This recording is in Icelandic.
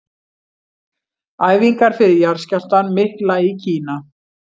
Æfingar fyrir jarðskjálftann mikla í Kína.